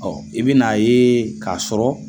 Ɔ i bɛn' a ye k'a sɔrɔ